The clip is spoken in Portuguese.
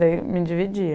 Daí me dividia.